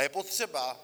A je potřeba